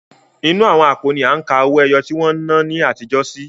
Inú àwọn àpò ni à ń ka owó ẹyọ tí wọ́n n ná ní àtijó sí.